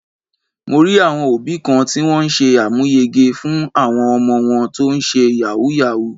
Mo rí àwọn òbí kan tí wón ṣe àmúyege fún àwọn ọmọ wọn tó ń ṣe Yahoo Yahoo.